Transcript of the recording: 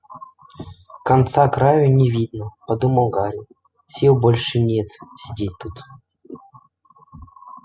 конца-краю не видно подумал гарри сил больше нет сидеть тут